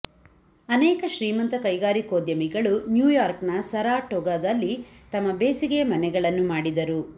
ಅನೇಕ ಶ್ರೀಮಂತ ಕೈಗಾರಿಕೋದ್ಯಮಿಗಳು ನ್ಯೂಯಾರ್ಕ್ನ ಸರಾಟೊಗಾದಲ್ಲಿ ತಮ್ಮ ಬೇಸಿಗೆಯ ಮನೆಗಳನ್ನು ಮಾಡಿದರು